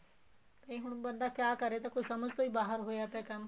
ਤੇ ਹੁਣ ਬੰਦਾ ਕਿਹਾ ਕਰੇ ਤੇ ਸਮਝ ਤੋ ਹੀ ਬਹਾਰ ਹੋਇਆ ਪਇਆ ਕੰਮ